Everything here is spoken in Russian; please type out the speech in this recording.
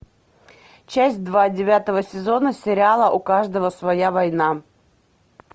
часть два девятого сезона сериала у каждого своя война